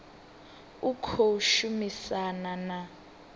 u tshi khou shumisana na